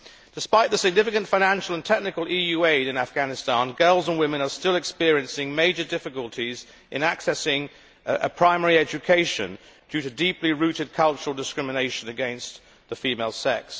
Despite the significant financial and technical EU aid in Afghanistan, girls and women are still experiencing major difficulties in accessing primary education due to deeply rooted cultural discrimination against the female sex.